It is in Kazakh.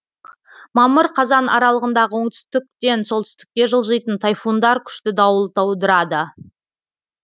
мамыр қазан аралығындағы оңтүстіктен солтүстікке жылжитын тайфундар күшті дауыл тудырады